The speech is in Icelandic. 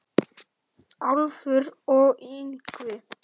Álfur og Yngvi